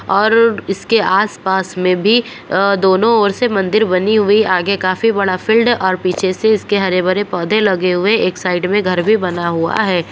और इसके आस-पास मे भी अ दोनों ओर से मंदिर बनी हुई-- आगे काफी बड़ा फील्ड और पीछे से इसके हरे-भरे पौधें लगे हुए एक साइड मे घर भी बना हुआ है।